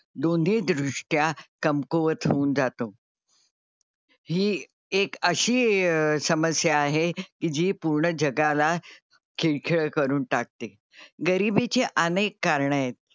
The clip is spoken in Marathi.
दोन्ही दृष्ट्या कमकुवत होऊन जातो ही एक अशी समस्या आहे की जी पूर्ण जगाला खिळखिळं करून टाकते. गरीबीची अनेक कारणं आहेत.